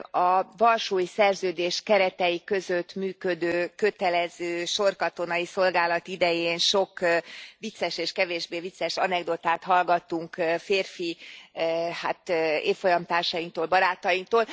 A Varsói Szerződés keretei között működő kötelező sorkatonai szolgálat idején sok vicces és kevésbé vicces anekdotát hallgattunk férfi évfolyamtársainktól, barátainktól.